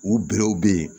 U berew be yen